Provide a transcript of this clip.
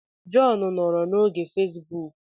John nọrọ n'oge na fesbuk